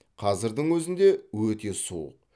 қазірдің өзінде өте суық